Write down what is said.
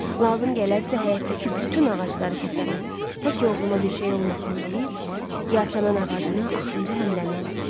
Lazım gələrsə həyətdəki bütün ağacları kəsərəm, tək oğluma bir şey olmasın deyib, Yasəmən ağacına axırıncı həmləni elədi.